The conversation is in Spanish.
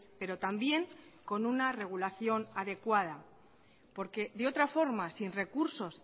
pero también con una regulación adecuada porque de otra forma sin recursos